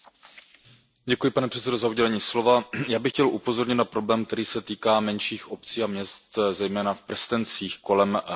Pane předsedající, já bych chtěl upozornit na problém, který se týká menších obcí a měst, zejména v prstencích kolem hlavních měst.